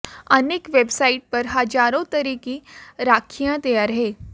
अनेक वेबसाइट पर हजारों तरह की राखियां तैयार हैं